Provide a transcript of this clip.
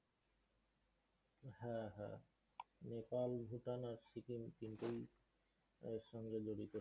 হ্যাঁ, হ্যাঁ। নেপাল, ভূটান আর সিকিম তিনতেই এর সঙ্গে জড়িত।